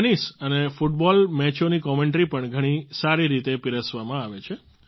tennis અને football મેચોની commentary પણ ઘણી સારી રીતે પીરસવામાં આવે છે